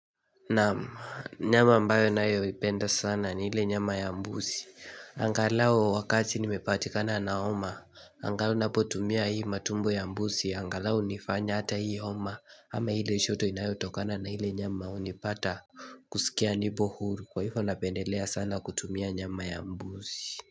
Naam, nyama ambayo ninayoipenda sana ni ile nyama ya mbuzi Angalau wakati nimepatikana na homa Angalau ninapotumia hii matumbo ya mbuzi angalau nifanye hata hii homa ama ile joto inayotokana na ile nyama hunipata kusikia nipo huru. Kwa hivyo napendelea sana kutumia nyama ya mbuzi.